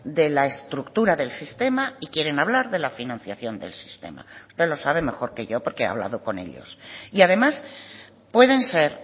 de la estructura del sistema y quieren hablar de la financiación del sistema usted lo sabe mejor que yo porque ha hablado con ellos y además pueden ser